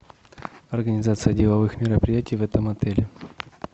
организация деловых мероприятий в этом отеле